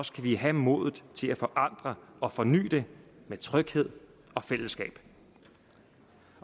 vi have modet til at forandre og forny det med tryghed og fællesskab